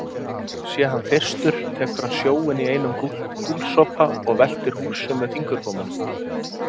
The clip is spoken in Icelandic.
Sé hann þyrstur tekur hann sjóinn í einum gúlsopa og veltir húsum með fingurgómunum.